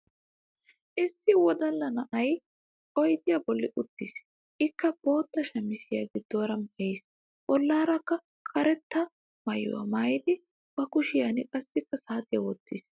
Issi wodallaa na'ay oydiya bollan uttis. Ikkaa botta shaamiziya giddoraa maayis. Bollarakka kareetta maayuwua maayidi ba kushiyankka qassi saatiya wottiis.